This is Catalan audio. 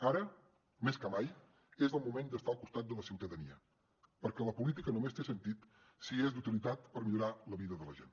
ara més que mai és el moment d’estar al costat de la ciutadania perquè la política només té sentit si és d’utilitat per millorar la vida de la gent